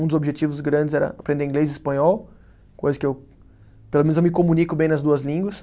Um dos objetivos grandes era aprender inglês e espanhol, coisa que eu, pelo menos eu me comunico bem nas duas línguas.